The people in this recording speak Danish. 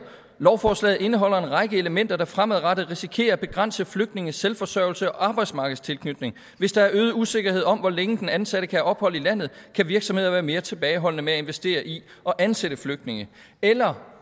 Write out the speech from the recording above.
lovforslaget indeholder en række elementer der fremadrettet risikerer at begrænse flygtninges selvforsørgelse og arbejdsmarkedstilknytning hvis der er øget usikkerhed om hvor længe den ansatte kan have ophold i landet kan virksomhederne være mere tilbageholdende med at investere i og ansætte flygtninge eller